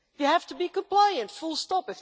You have to be compliant full stop.